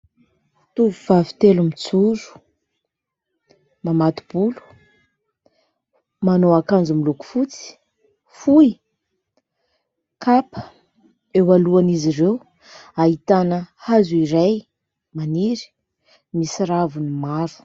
Tovovavy telo mijoro, mamato-bolo, manao akanjo miloko fotsy, fohy, kapa. Eo alohan'izy ireo ahitana hazo iray maniry misy raviny maro.